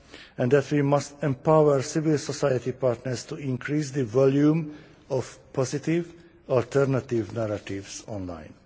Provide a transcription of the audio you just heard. and that we must empower civil society partners to increase the volume of positive alternative narratives online.